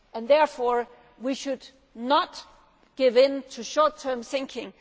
headquarters. Therefore, we should not give in to short term